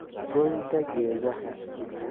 Goynta Geedaha